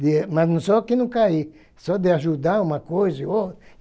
Mas não solta e não cair, só de ajudar uma coisa e outra